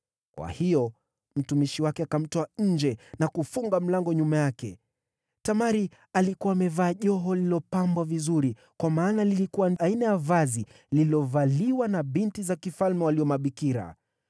Kwa hiyo, mtumishi wake akamtoa nje na kufunga mlango nyuma yake. Tamari alikuwa amevaa joho lililopambwa vizuri, kwa maana lilikuwa aina ya mavazi yaliyovaliwa na binti za mfalme waliokuwa mabikira.